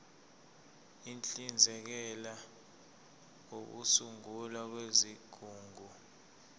uhlinzekela ukusungulwa kwezigungu